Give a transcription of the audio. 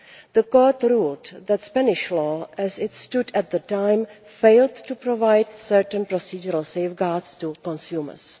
The Court ruled that Spanish law as it stood at the time failed to provide certain procedural safeguards to consumers.